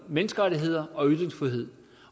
menneskerettigheder og ytringsfrihed